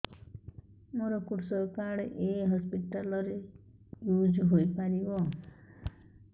ମୋର କୃଷକ କାର୍ଡ ଏ ହସପିଟାଲ ରେ ୟୁଜ଼ ହୋଇପାରିବ